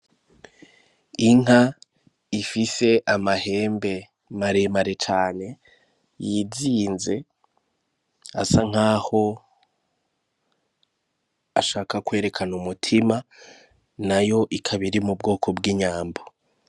Inka ifise amahembe maremere cane yizinze asa nkaho ashaka kwerekana umutima nayo ikaba iri mu bwoko bw'inyambo.